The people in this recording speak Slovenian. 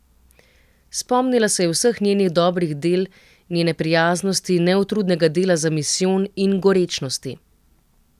Spomnila se je vseh njenih dobrih del, njene prijaznosti, neutrudnega dela za misijon in gorečnosti.